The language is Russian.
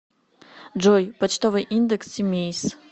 джой почтовый индекс симеиз